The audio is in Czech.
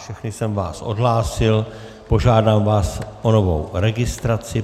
Všechny jsem vás odhlásil, požádám vás o novou registraci.